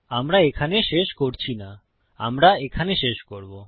আমরা এখানে শেষ করছি না আমরা এখানে শেষ করবো